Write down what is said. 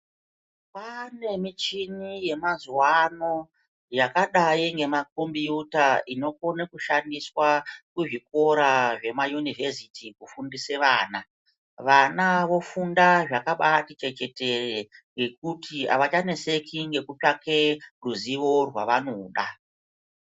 Kwane muchini yemazuwa ano yakadai ngemacombuta inokona kushandiswa kuzvikora zvema univesiti kufundisa vana. Vana vofunda zvakabati chechetere ngekuti avachaneseki ngekutsvake ruzivo rwavanoda.